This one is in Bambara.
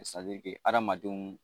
hadamadenw